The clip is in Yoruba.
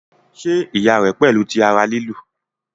ṣe iya rẹ pẹlu ti ara lilu?